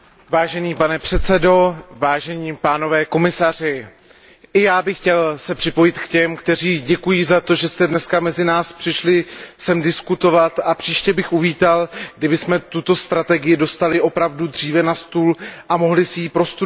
Pane předsedající, pánové komisaři, i já bych se chtěl připojit k těm, kteří děkují za to, že jste dnes mezi nás přišli diskutovat, a příště bych uvítal, kdybychom tuto strategii dostali opravdu dříve na stůl a mohli si ji prostudovat.